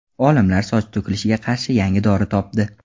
Olimlar soch to‘kilishiga qarshi yangi dori topdi.